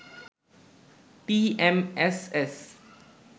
TMSS